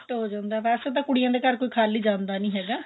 gift ਹੋ ਜਾਂਦਾ ਵੇਸੇ ਤਾਂ ਕੁੜੀਆਂ ਦੇ ਘਰ ਕੀ ਖਾਲੀ ਜਾਂਦਾ ਨੀ ਹੈਗਾ